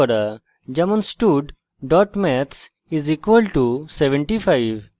যেমন stud maths = 75;